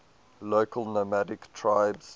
local nomadic tribes